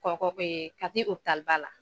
Kɔkɔ Kati opitaliba la.